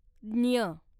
ज्ञ